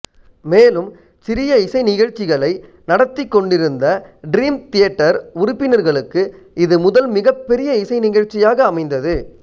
மேலும் சிறிய இசை நிகழ்ச்சிகளை நடத்திக்கொண்டிருந்த டிரீம் தியேட்டர் உறுப்பினர்களுக்கு இது முதல் மிகப்பெரிய இசை நிகழ்ச்சியாக அமைந்தது